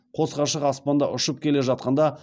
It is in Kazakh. қос ғашық аспанда ұшып келе жатқанда